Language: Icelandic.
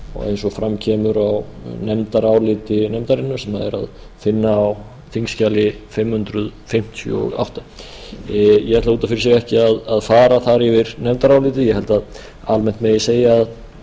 eins og fram kemur á nefndaráliti nefndarinnar sem er að finna á þingskjali fimm hundruð fimmtíu og átta ég ætla út af yfir sig ekki að fara þar yfir nefndarálitið ég held að almennt megi segja að